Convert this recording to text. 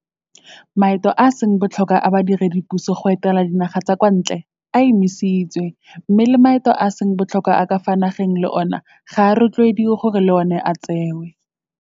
Maeto a a seng botlhokwa a badiredipuso go etela dinaga tsa kwa ntle a emisitswe mme le maeto a a seng botlhokwa a ka fa nageng le ona ga a rotloediwe gore le ona a tsewe.